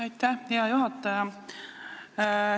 Aitäh, hea juhataja!